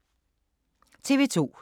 TV 2